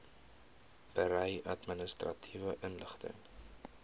berei administratiewe inligting